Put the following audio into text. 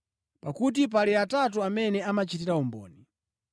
Pakuti pali atatu amene amachitira umboni.